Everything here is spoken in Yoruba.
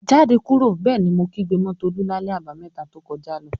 "Jáde kúrò!" Bẹ́ẹ̀ ni mo kígbe mọ́ Tolú lálẹ́ Àbàmẹ́ta to kọjá lọ.